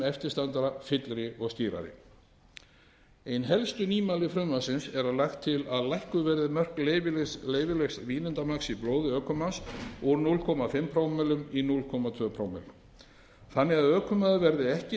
eftir standa fyllri og skýrari ein helstu nýmæli frumvarpsins er að lagt er til að lækkuð verði mörk leyfilegs vínandamagns í blóði ökumanns úr hálf prómillum í núll komma tvö prómill þannig að ökumaður verði ekki